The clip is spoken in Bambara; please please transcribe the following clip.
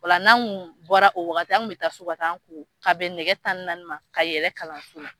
Ola n'an kun bɔra o wagati , an kun bɛ taa so ka bɛn nɛgɛ tan ni naani ka yɛlɛ kalanso.